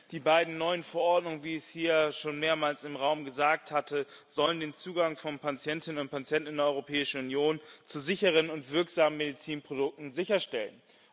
Die beiden neuen Verordnungen, wie es hier schon mehrmals im Raum gesagt wurde, sollen den Zugang von Patientinnen und Patienten in der Europäischen Union zu sicheren und wirksamen Medizinprodukten sicherstellen.